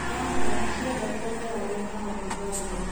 Nyanya ciendete rĩera rina rugarĩ.